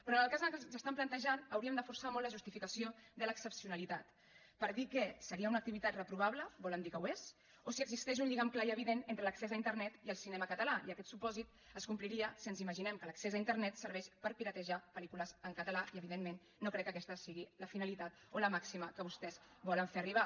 però en el cas que ens estan plantejant hauríem de forçar molt la justificació de l’excepcionalitat per dir que seria una activitat reprovable volen dir que ho és o si existeix un lligam clar i evident entre l’accés a internet i el cinema català i aquest supòsit es compliria si ens imaginem que l’accés a internet serveix per piratejar pel·lícules en català i evidentment no crec que aquesta sigui la finalitat o la màxima que vostès volen fer arribar